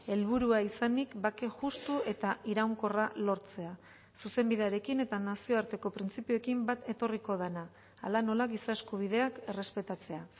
helburua izanik bake justu eta iraunkorra lortzea zuzenbidearekin eta nazioarteko printzipioekin bat etorriko dena hala nola giza eskubideak errespetatzea